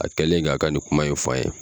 A kɛlen k'a ka nin kuma in f'a ye